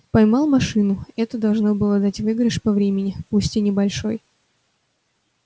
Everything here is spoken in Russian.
поймал машину это должно было дать выигрыш по времени пусть и небольшой